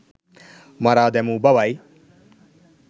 මරා දැමූ බවයි